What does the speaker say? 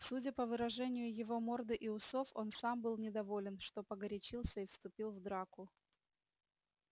судя по выражению его морды и усов он сам был недоволен что погорячился и вступил в драку